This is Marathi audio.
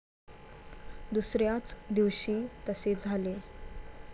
दुसऱ्याच दिवशी तसे झाले